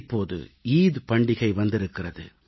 இப்போது ஈகை பண்டிகை வந்திருக்கிறது